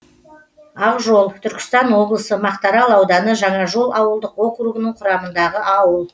ақжол түркістан облысы мақтаарал ауданы жаңажол ауылдық округі құрамындағы ауыл